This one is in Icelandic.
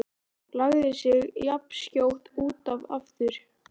Lagði sig jafnskjótt út af aftur.